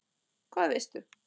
Hvað veistu?